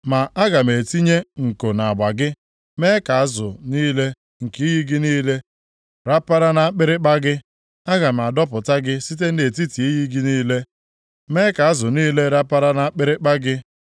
Ma aga m etinye nko nʼagba gị, mee ka azụ niile nke iyi gị niile rapara nʼakpịrịkpa gị. Aga m adọpụta gị site nʼetiti iyi gị niile, mee ka azụ niile rapara nʼakpịrịkpa gị.